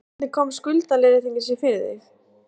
Þórhildur: Hvernig kom skuldaleiðréttingin sér fyrir þig?